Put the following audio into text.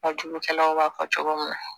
A jugukɛlaw b'a fɔ cogo min na